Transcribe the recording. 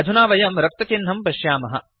अधुना वयं रक्तचिह्नं पश्यामः